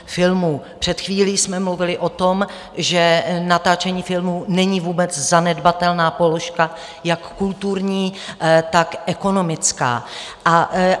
Před chvílí jsme mluvili o tom, že natáčení filmů není vůbec zanedbatelná položka jak kulturní, tak ekonomická.